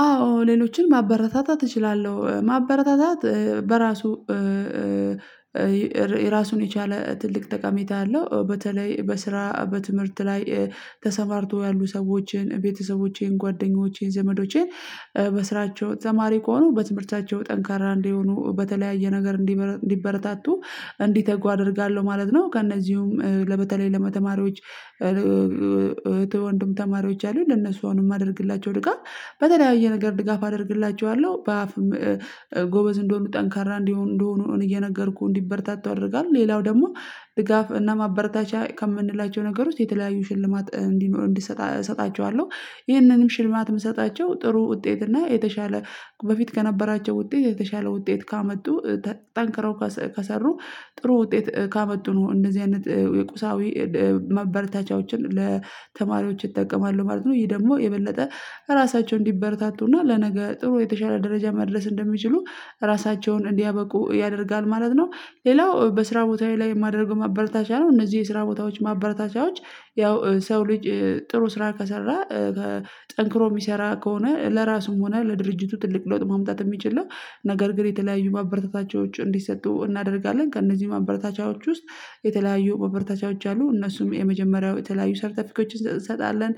አዎ ሌሎችን ማበረታታት እችላለሁ ማበረታታት በራሱ የራሱን የቻለ ትልቅ ጠቀሜታ አለው በተለይ በስራ በትምህርት ላይ ተሰማርቶ ያሉ ሰዎችን ቤተሰቦቼን ጓደኞቼን ዘመዶቼን በስራቸው ተማሪ ከሆኑ በትምህርታቸው ጠንካራ እንዲሆኑ በተለያየ ነገር እንዲበረታቱ እንዲተጉ አደርጋለሁ ማለት ነው። ከእነዚህም በተለይ ለተማሪዎች ወንድም ተማሪዎች አሉ ለነሱ አሁንም የማደርግላቸው ድጋፍ በተለያየ ነገር ድጋፍ አደርግላቸዋለሁ በአፍ ጎበዝ እንዲሆነ ጠንካራ እንደሆነ እንደሆነ እየነገርኩ እንዲበርታታ አደርጋለሁ። ሌላው ደግሞ ድጋፍ እና ማበርታቻ ከምንላቸው ነገር ውስጥ የተለያዩ ሽልማት እንዲሆን እሰጣቸዋለሁ ይህንንም ሽልማት የምሰጣቸው ጥሩ ውጤት እና የተሻለ በፊት ከነበራቸው ውጤት የተሻለ ውጤት ካመጡ ጠንክረው ከሰሩ ጥሩ ውጤት ካመጡ ነው እንደዚህ አይነት የቁሳዊ ማበርታቻዎችን ለተማሪዎች ይጠቀማሉ ማለት ነው። ይሄ ደግሞ የበለጠ ራሳቸው እንዲበረታቱና ለነገ ጥሩ የተሻለ ደረጃ መድረስ እንደሚችሉ ራሳቸውን እንዲያበቁ ያደርጋል ማለት ነው። ሌላው በስራ ቦታዬ ላይ የማደርገው ማበረታቻ ነው እነዚህ የስራ ቦታዎች ማበረታቻዎች ያው ሰው ልጅ ጥሩ ስራ ከሰራ ጠንክሮ የሚሰራ ከሆነ ለራሱም ሆነ ለድርጅቱ ትልቅ ለውጥ ማምጣት የሚችል ነው። ነገር ግን የተለያዩ ማበረታታቸው እንዲሰጡ እናደርጋለን ከእነዚህ ማበረታቻዎች ውስጥ የተለያዩ ማበረታቻዎች አሉ እነሱም የመጀመሪያው የተለያዩ ሰርተፊኬቶችን እንሰጣለን።